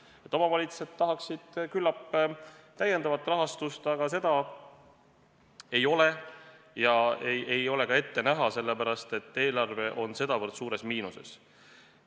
Küllap omavalitsused tahaksid lisarahastust, aga seda ei ole ega ole ka ette näha, sellepärast, et eelarve on sedavõrd suures miinuses.